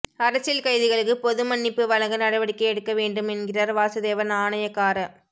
அரசியல் கைதிகளுக்கு பொது மன்னிப்பு வழங்க நடவடிக்கை எடுக்க வேண்டும் என்கிறார் வாசுதேவ நாணயக்கார